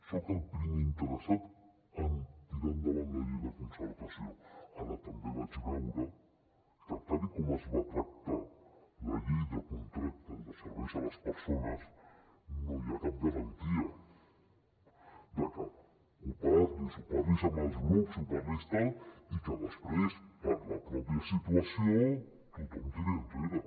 soc el primer interessat en tirar endavant la llei de concertació ara també vaig veure que tal com es va tractar la llei de contractes de serveis a les persones no hi ha cap garantia de que ho parlis ho parlis amb els grups ho parlis tal i que després per la mateixa situació tothom tiri enrere